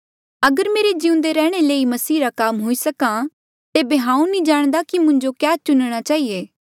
अगर मेरे जिउंदे रैंहणें ले ही मसीह रा काम हुई सका तेबे हांऊँ नी जाणदा कि मुंजो क्या चुणणा चहिए